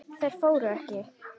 Þær fóru ekki.